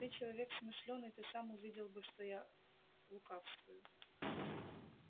ты человек смышлёный ты сам увидел бы что я лукавствую